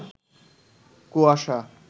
কুয়াশা